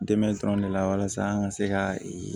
Dɛmɛ dɔrɔn de la walasa an ka se ka